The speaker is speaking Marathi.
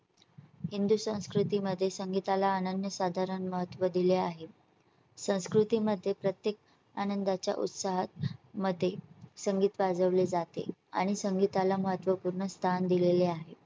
हिंदू संस्कृती मध्ये संगीताला अनन्य साधारण महत्त्व दिले आहे * संस्कृती मध्ये प्रत्येक आनंदाच्या उत्साहा मध्ये संगीत वाजवले जाते आणि संगीता ला महत्त्वपूर्ण स्थान दिलेले आहे.